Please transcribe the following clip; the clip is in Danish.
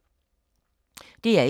DR1